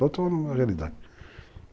Toda uma realidade.